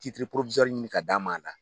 Titiri ɲini k'a d'an ma a la.